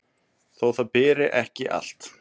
þó það beri ekki allt